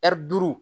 Ɛri duuru